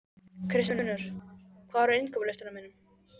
Kristfinnur, hvað er á innkaupalistanum mínum?